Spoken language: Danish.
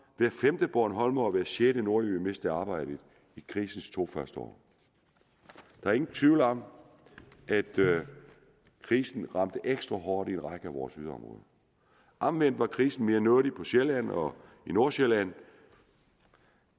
hver femte bornholmer og hver sjette nordjyde mistede arbejdet i krisens to første år der er ingen tvivl om at krisen ramte ekstra hårdt i en række af vores yderområder omvendt var krisen mere nådig på sjælland og i nordsjælland